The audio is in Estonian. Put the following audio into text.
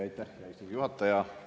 Aitäh, hea istungi juhataja!